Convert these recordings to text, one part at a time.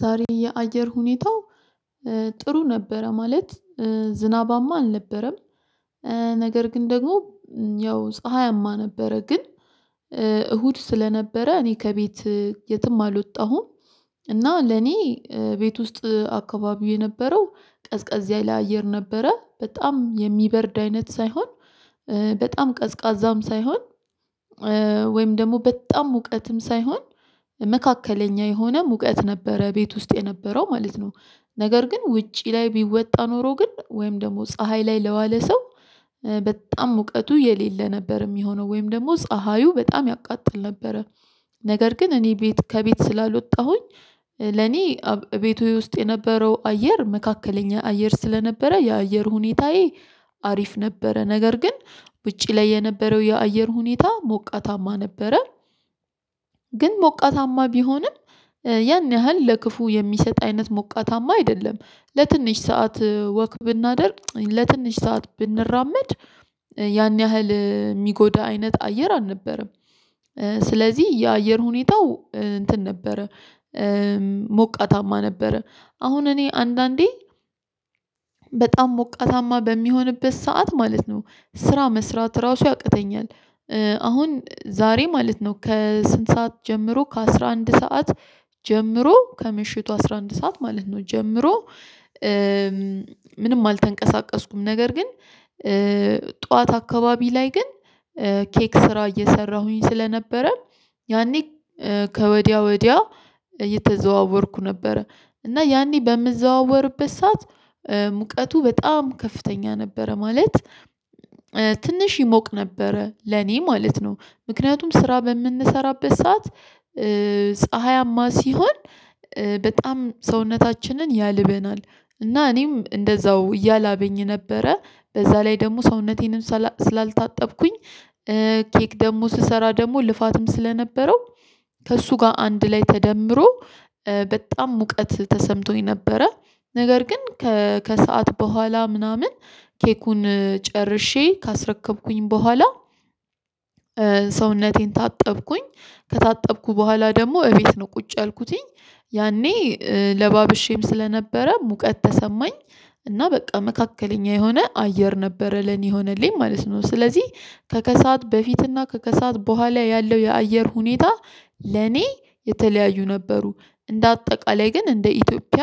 ዛሬ የአየር ሁኔታው ጥሩ ነበረ ማለት ዝናባማ አልነበረም ነገር ግን ደግሞ ያው ፀሀያማ ነበረ። ግን እሁድ ስለነበረ እኔ ከቤት የትም አልወጣሁም። እና ለኔ ቤት ውስጥ አካባቢው የነበረው ቀዝቃዛ ያለ አየር ነበረ በጣም የሚበርድ አይነት ሳይሆን በጣም ቀዝቃዛም ሳይሆን ወይም ደግሞ በጣም ሙቀትም ሳይሆን መካከለኛ የሆነ ሙቀት ነበረ ቤት ውስጥ የነበረው ማለት ነው። ነገር ግን ውጪ ላይ ቢወጣ ኖሮ ግን ወይም ደግሞ ፀሀይ ላይ ለዋለ ሰው በጣም ሙቀቱ የሌለ ነበር የሚሆነው ወይም ደግሞ ፀሀዩ በጣም ያቃጥል ነበረ። ነገር ግን እኔ ቤት ከቤት ስላልወጣሁኝ ለኔ ቤቱ ውስጥ የነበረው አየር መካከለኛ አየር ስለነበረ የአየር ሁኔታዬ አሪፍ ነበረ። ነገር ግን ውጪ ላይ የነበረው የአየር ሁኔታ ሞቃታማ ነበረ። ግን ሞቃታማ ቢሆንም ያን ያህል ለክፉ የሚሰጥ አይነት ሞቃታማ አይደለም ለትንሽ ሰዓት ወክ ብናደርግ ለትንሽ ሰዓት ብንራመድ ያን ያህል የሚጎዳ አይነት አየር አልነበረም። ስለዚህ የአየር ሁኔታው እንትን ነበረ ሞቃታማ ነበረ አሁን እኔ አንዳንዴ በጣም ሞቃታማ በሚሆንበት ሰዓት ማለት ነው ስራ መስራት ራሱ ያቅተኛል። አሁን ዛሬ ማለት ነው ከስንት ሰዓት ጀምሮ ከአስራ አንድ ሰዓት ጀምሮ ከምሽቱ አስራ አንድ ሰዓት ማለት ነው ጀምሮ። ምንም አልተንቀሳቀስኩም ነገር ግን ጠዋት አካባቢ ላይ ግን ኬክ ስራ እየሰራሁኝ ስለነበረ ያኔ ከወዲያ ወዲያ እየተዘዋወርኩ ነበረ እና ያኔ በምዘዋወርበት ሰዓት ሙቀቱ በጣም ከፍተኛ ነበረ። ማለት ትንሽ ይሞቅ ነበረ ለኔ ማለት ነው። ምክንያቱም ስራ በምንሰራበት ሰዓት ፀሀያማ ሲሆን በጣም ሰውነታችንን ያልበናል። እና እኔም እንደዛው እያላበኝ ነበረ በዛ ላይ ደግሞ ሰውነቴንም ስላልታጠብኩኝ ኬክ ደግሞ ስሰራ ደግሞ ልፋትም ስለነበረው ከእሱ ጋር አንድ ላይ ተደምሮ በጣም ሙቀት ተሰምቶኝ ነበረ። ነገር ግን ከሰአት በኋላ ምናምን ኬኩን ጨርሼ ካስረከብኩኝ በኋላ ሰውነቴን ታጠብኩኝ። ከታጠብኩ በኋላ ደግሞ እቤት ነው ቁጭ ያልኩትኝ ያኔ ለባብሼም ስለነበረ ሙቀት ተሰማኝ። እና በቃ መካከለኛ የሆነ አየር ነበረ ለኔ ሆነልኝ ማለት ነው። ስለዚህ ከከሳት በፊትና ከከሳት በኋላ ያለው የአየር ሁኔታ ለኔ የተለያዩ ነበሩ እንደ አጠቃላይ ግን እንደ ኢትዮጵያ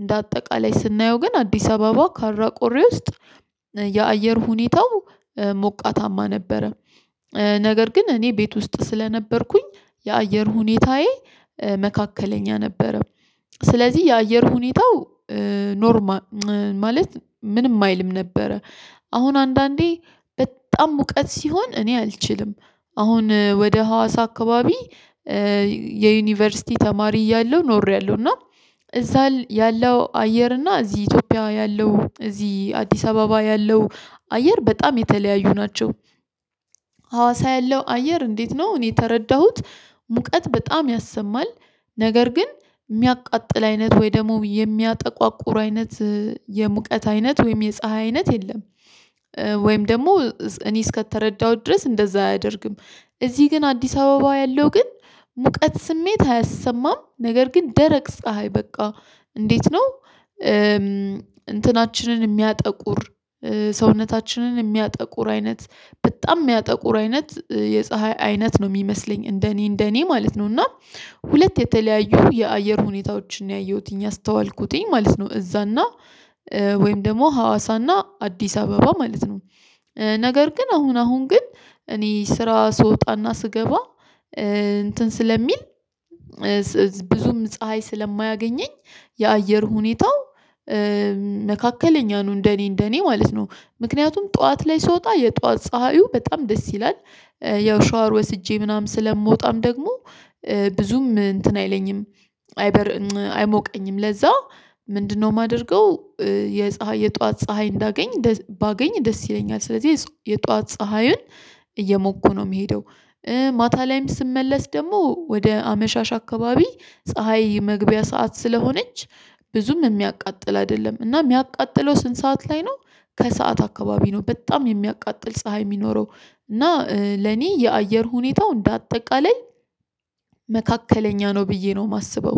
እንደ አጠቃላይ ስናየው ግን አዲስ አበባ ካራ ቆሬ ውስጥ የአየር ሁኔታው ሞቃታማ ነበረ። ነገር ግን እኔ ቤት ውስጥ ስለነበርኩኝ የአየር ሁኔታዬ መካከለኛ ነበረው ስለዚህ የአየር ሁኔታው ኖርማል ማለት ምንም አይልም ነበረ። አሁን አንዳንዴ በጣም ሙቀት ሲሆን እኔ አልችልም። አሁን ወደ ሀዋሳ አካባቢ የዩኒቨርሲቲ ተማሪ እያለሁ ኖሬያለሁ እና እዛል ያለው አየር እና እዚህ ኢትዮጵያ ያለው እዚህ አዲስ አበባ ያለው አየር በጣም የተለያዩ ናቸው። ሀዋሳ ያለው አየር እንዴት ነው? እኔ የተረዳሁት ሙቀት በጣም ያሰማል። ነገር ግን የሚያቃጥል አይነት ወይ ደግሞ የሚያጠቋቁሩ አይነት የሙቀት አይነት ወይም የፀሀይ አይነት የለም። ወይም ደግሞ እኔ እስከተረዳሁት ድረስ እንደዛ አያደርግም። እዚህ ግን አዲስ አበባ ያለው ግን ሙቀት ስሜት አያሰማም ነገር ግን ደረቅ ፀሀይ በቃ እንዴት ነው? እንትናችንን የሚያጠቁር ሰውነታችንን የሚያጠቁር አይነት በጣም የሚያጠቁር አይነት የፀሀይ አይነት ነው የሚመስለኝ እንደኔ እንደኔ ማለት ነው እና ሁለት የተለያዩ የአየር ሁኔታዎችን ነው ያየሁትኝ አስተዋልኩትኝ ማለት ነው። እዛና ወይም ደግሞ ሀዋሳና አዲስ አበባ ማለት ነው። ነገር ግን አሁን አሁን ግን እኔ ስራ ስወጣና ስገባ እንትን ስለሚል ብዙም ፀሀይ ስለማያገኘኝ የአየር ሁኔታው መካከለኛ ነው እንደኔ እንደኔ ማለት ነው። ምክንያቱም ጠዋት ላይ ስወጣ የጠዋት ፀሀዩ በጣም ደስ ይላል። ያው ሻወር ወስጄ ምናምን ስለምወጣም ደግሞ ብዙም እንትን አይለኝም። አይበ አይሞቀኝም ለዛ ምንድነው የማደርገው? የፀሀይ የጧት ፀሀይ እንዳገኝ ባገኝ ደስ ይለኛል ስለዚህ የጧት ፀሀዩን እየሞኩ ነው የሚሄደው። ማታ ላይም ስመለስ ደግሞ ወደ አመሻሽ አካባቢ ፀሀይ መግቢያ ሰዓት ስለሆነች ብዙም የሚያቃጥል አይደለም እና የሚያቃጥለው ስንት ሰዓት ላይ ነው? ከሰአት አካባቢ ነው በጣም የሚያቃጥል ፀሀይ የሚኖረው። እና ለኔ የአየር ሁኔታው እንደ አጠቃላይ መካከለኛ ነው ብዬ ነው የማስበው